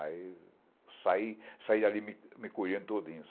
Aí saí, saí dali me colhendo todinho.